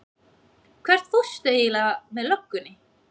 Hvert fórstu eiginlega með löggunni?